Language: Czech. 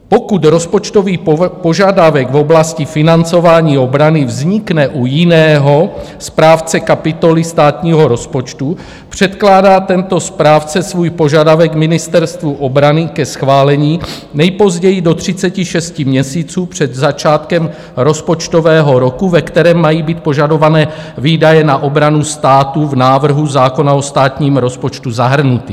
Pokud rozpočtový požadavek v oblasti financování obrany vznikne u jiného správce kapitoly státního rozpočtu, předkládá tento správce svůj požadavek Ministerstvu obrany ke schválení nejpozději do 36 měsíců před začátkem rozpočtového roku, ve kterém mají být požadované výdaje na obranu státu v návrhu zákona o státním rozpočtu zahrnuty.